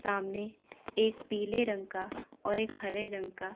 सामने एक पीले रंग का और एक हरे रंग का--